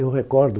Eu recordo...